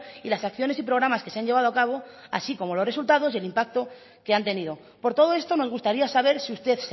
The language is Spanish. y las acciones y programas que se han llevado a cabo así como los resultados y el impacto que han tenido por todo esto nos gustaría saber si usted